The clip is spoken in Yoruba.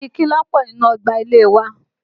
Igi kí ló pọ̀ nínú ọgbà ilé e wa?